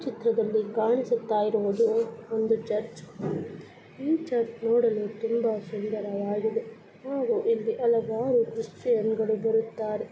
ಚಿತ್ರದ್ಲಲಿ ಕಾಣಿಸುತ್ತ ಇರುವುದು ಒಂದು ಚರ್ಚ್ ಈ ಚರ್ಚ್ ನೋಡಲು ತುಂಬಾ ಸುಂದರ್ವಾಗಿದೆ ಹಾಗೂ ಇಲಿ ಹಲವಾರು ಕ್ರಿಸ್ಟಿಯನ್ ರು ಬರುತ್ತಾರೆ .